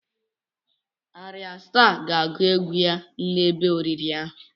Ayra Staa ga-agụ egwu ya n'ebe oriri ahụ.